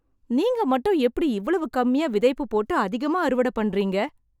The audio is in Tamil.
நீங்க மட்டும் எப்படி இவ்வளவு கம்மியா விதைப்பு போட்டு அதிகமா அறுவடை பண்றீங்க.